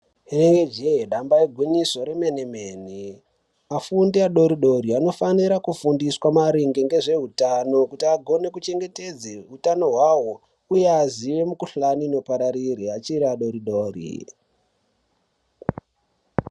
Rinenge jee damba igwinyiso remene mene afundi adoridori anofanira kufundiswa maringe ngezveutano kuti agone kuchengetedze utano hwavo uye aziye mukuhlani inopararire achiri adoridori.